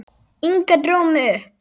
Inga dró mig upp.